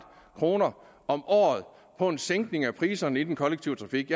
kroner om året på en sænkning af priserne i den kollektive trafik